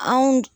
Anw